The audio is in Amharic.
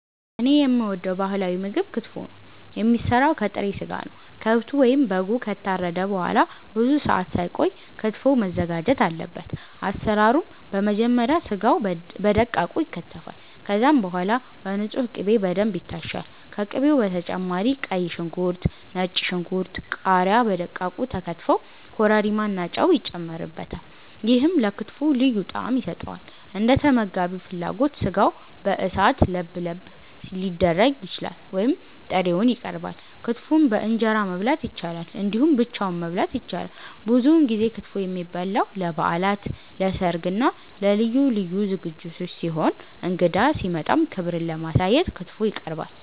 እኔ የምወደው ባህላዊ ምግብ ክትፎ ነው። የሚሰራው ከጥሬ ስጋ ነው። ከብቱ ወይም በጉ ከታረደ በኋላ ብዙ ሰአት ሳይቆይ ክትፎው መዘጋጀት አለበት። አሰራሩም በመጀመሪያ ስጋው በደቃቁ ይከተፋል። ከዛም በኋላ በንጹህ ቅቤ በደንብ ይታሻል። ከቅቤው በተጨማሪ ቀይ ሽንኩርት፣ ነጭ ሽንኩርት፣ ቃሪያ በደቃቁ ተከትፈው ኮረሪማ እና ጨው ይጨመርበታል። ይሄም ለክትፎው ልዩ ጣዕም ይሰጠዋል። እንደተመጋቢው ፍላጎት ስጋው በእሳት ለብለብ ሊደረግ ይችላል ወይም ጥሬውን ይቀርባል። ክትፎን በእንጀራ መብላት ይቻላል እንዲሁም ብቻውን መበላት ይችላል። ብዙውን ጊዜ ክትፎ የሚበላው ለበዓላት፣ ለሰርግ እና ለልዩ ልዩ ዝግጅቶች ሲሆን እንግዳ ሲመጣም ክብርን ለማሳየት ክትፎ ይቀርባል።